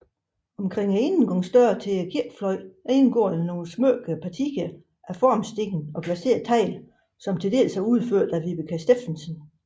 Omkring indgangsdørene til kirkefløjen indgår udsmykkede partier af formsten og glaseret tegl til dels udført af Vibeke Steffensen